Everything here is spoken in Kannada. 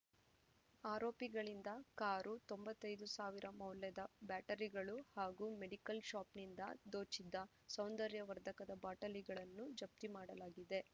ಆರೋಪಿಗಳಿಂದ ಕಾರು ತೊಂಬತ್ತೈದು ಸಾವಿರ ಮೌಲ್ಯದ ಬ್ಯಾಟರಿಗಳು ಹಾಗೂ ಮೆಡಿಕಲ್‌ ಶಾಪ್‌ನಿಂದ ದೋಚಿದ್ದ ಸೌಂದರ್ಯವರ್ಧಕದ ಬಾಟಲಿಗಳನ್ನು ಜಪ್ತಿ ಮಾಡಲಾಗಿದೆ